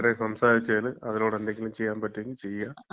ഇത്രയും സംസാരിച്ചതിന്. അതിലൂടെ എന്തെങ്കിലും ചെയ്യാൻ പറ്റെങ്കില് ചെയ്യാ.